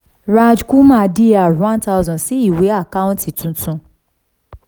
raj kumar dr one thousand sí ìwé àkáǹtì tuntun